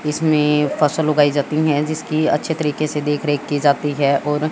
इसमें फसल उगाई जाती हैं जिसकी अच्छे तरीके से देख रेख की जाती है और--